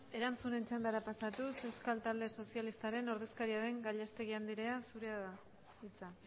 erantzunen txandara pasatuz euskal talde sozialistaren ordezkaria den gallastegui andrea zurea da hitza